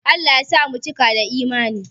Allah ya sa mu cika da Imani